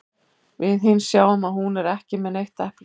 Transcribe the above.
Við hin sjáum að hún er ekki með neitt epli.